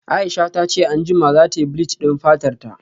Aisha tace anjima zatayi bleach din fatarta